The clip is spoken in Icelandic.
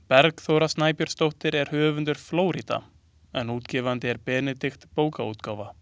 Bergþóra Snæbjörnsdóttir er höfundur „Flórída“ en útgefandi er Benedikt bókaútgáfa.